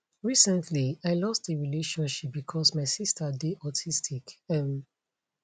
recently i lost a relationship becos my sister dey autistic um